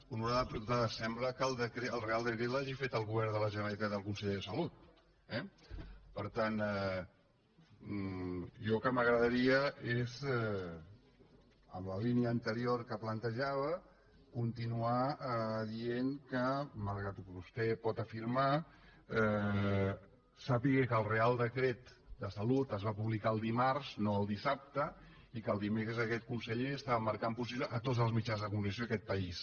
honorable diputada sembla que el reial decret l’hagi fet el govern de la generalitat i el conseller de salut eh per tant jo el que m’agradaria és en la línia anterior que plantejava continuar dient que malgrat el que vostè pot afirmar sàpiga que el reial decret de salut es va publicar el dimarts no el dissabte i que el dimecres aquest conseller estava marcant posició a tots els mitjans de comunicació d’aquest país